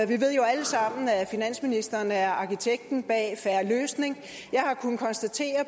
vi ved jo alle sammen at finansministeren er arkitekten bag en fair løsning og jeg har kunnet konstatere